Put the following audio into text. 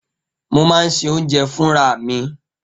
Mo máa ń se oúnjẹ mi fúnra mi.